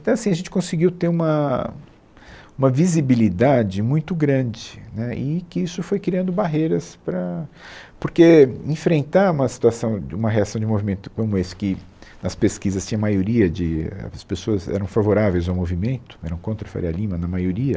Então é assim, a gente conseguiu ter uma, uma visibilidade muito grande, né e que isso foi criando barreiras para... Porque enfrentar uma situação de, uma reação de um movimento como esse, que nas pesquisas tinha maioria de... é, as pessoas eram favoráveis ao movimento, eram contra a Faria Lima na maioria,